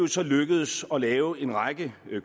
så lykkedes at lave en række